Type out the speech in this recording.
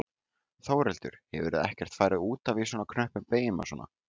Þórhildur: Hefurðu ekkert farið út af í svona knöppum beygjum og svona?